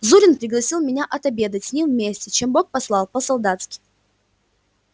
зурин пригласил меня отобедать с ним вместе чем бог послал по-солдатски